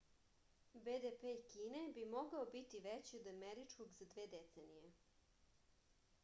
bdp kine bi mogao biti veći od američkog za dve decenije